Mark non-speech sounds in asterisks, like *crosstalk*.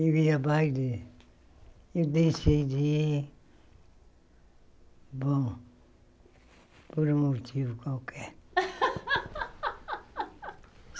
Eu ia mais de... Eu decidi... Bom... Por um motivo qualquer. *laughs*